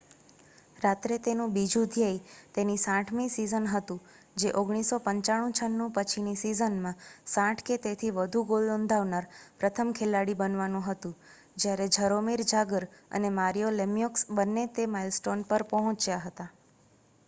રાત્રે તેનું બીજું ધ્યેય તેની 60મીસીઝન હતું જે 1995-96 પછીનીસીઝનમાં 60 કે તેથી વધુ ગોલનોંધાવનાર પ્રથમ ખેલાડી બનવાનુંહતું જ્યારે જરોમીર જાગર અનેમારિયો લેમ્યોક્સ બંને તે માઇલસ્ટોનપર પહોંચ્યા હતા